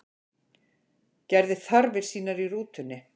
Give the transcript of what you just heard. Gerði þarfir sínar í rútunni